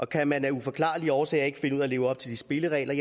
kan man af uforklarlige årsager ikke finde ud af at leve op til de spilleregler